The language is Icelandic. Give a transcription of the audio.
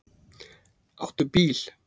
Áttu bíl?